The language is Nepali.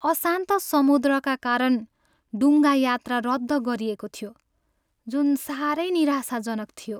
अशान्त समुद्रका कारण डुङ्गा यात्रा रद्द गरिएको थियो, जुन सारै निराशाजनक थियो।